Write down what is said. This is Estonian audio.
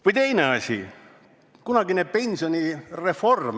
Või teine asi, kunagine pensionireform.